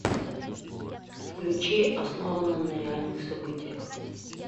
включи основано на реальных событиях